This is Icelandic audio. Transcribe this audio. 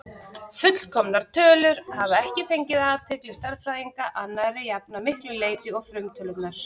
Fullkomnar tölur hafa ekki fangað athygli stærðfræðinga að nærri jafn miklu leyti og frumtölurnar.